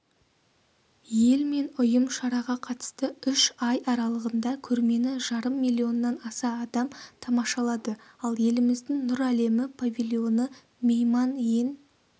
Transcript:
ел мен ұйым шараға қатысты үш ай аралығында көрмені жарым миллионнан аса адам тамашалады ал еліміздің нұр әлемі павильоны мейман ең